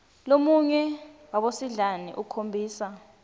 lomunye wabosidlani akhombisa